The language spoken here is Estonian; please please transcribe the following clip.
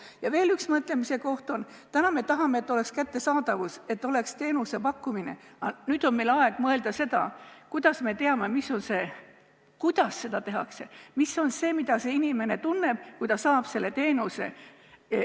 Ja veel üks mõtlemise koht: praegu me tahame, et oleks kättesaadavus, et oleks teenuse pakkumine, aga nüüd on meil aeg mõelda sellele, kuidas me teame, mis on see, kuidas seda tehakse, ja mis on see, mida see inimene tunneb, kui ta saab selle teenuse.